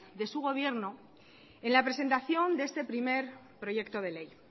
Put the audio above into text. de su gobierno en la presentación de este primer proyecto de ley